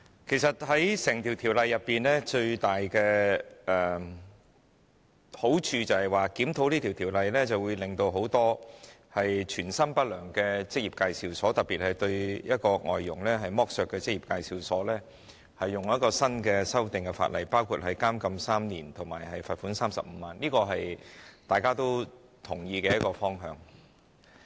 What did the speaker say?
其實，整項條例草案最大的好處是，檢討這項條例會對很多存心不良的職業介紹所，特別是剝削外傭的職業介紹所，按新修訂的法例作出處罰，包括監禁3年及罰款35萬元，這是大家均同意的方向。